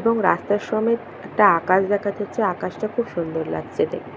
এবং রাস্তার সমেত একটা আকাশ দেখা যাচ্ছে। আকাশ টা খুবই সুন্দর লাগছে দেখতে।